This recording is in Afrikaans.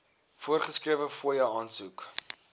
voorgeskrewe fooie aansoek